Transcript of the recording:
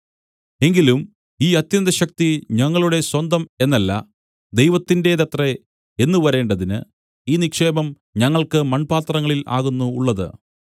എങ്കിലും ഈ അത്യന്തശക്തി ഞങ്ങളുടെ സ്വന്തം എന്നല്ല ദൈവത്തിന്റേതത്രേ എന്നു വരേണ്ടതിന് ഈ നിക്ഷേപം ഞങ്ങൾക്കു മൺപാത്രങ്ങളിൽ ആകുന്നു ഉള്ളത്